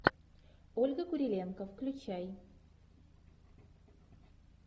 ольга куриленко включай